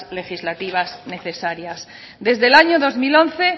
legislativas necesarias desde el año dos mil once